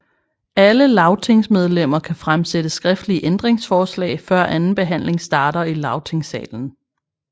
Alle lagtingsmedlemmer kan fremsætte skriftlige ændringsforslag før anden behandling starter i lagtingssalen